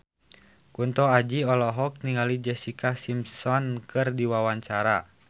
Kunto Aji olohok ningali Jessica Simpson keur diwawancara